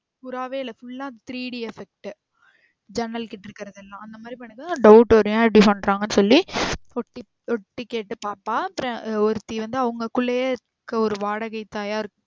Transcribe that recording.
புறாவே இல்ல full ஆ Three d effect ஜன்னல் கிட்ட இருக்குறது எல்லாம். அந்த மாறி பண்ணும் போது doubt வரும் ஏன் இப்டி பண்றாங்கன்னு சொல்லி ஒட்டு ஒட்டு கேட்டு பாப்பா. அப்றம் ஒருத்தி வந்து அவங்ககுல்லையே ஒரு வாடக தாயா இரு